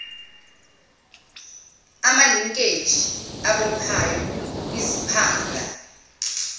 amalinkeji abophayo iziphanga